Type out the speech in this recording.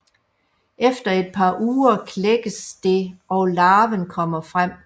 Efter et par uger klækkes det og larven kommer frem